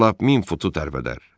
Bax lap min futu tərpədər.